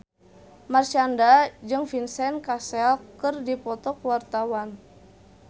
Marshanda jeung Vincent Cassel keur dipoto ku wartawan